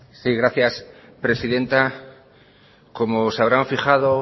sí gracias presidenta como se habrán fijado